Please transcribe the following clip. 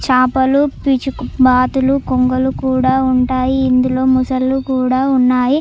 చేపలు పిచ్చుకలు బాతులు కొంగలు కూడా ఉంటాయి ఇందులో మొసళ్ళు కూడా ఉన్నాయి.